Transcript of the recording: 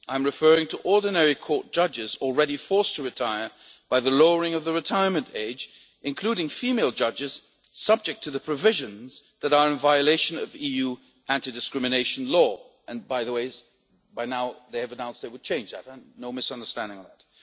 I am referring to ordinary court judges already forced to retire by the lowering of the retirement age, including female judges subject to the provisions that are in violation of EU anti discrimination law and by the way, now they have announced they will change that no misunderstanding on that.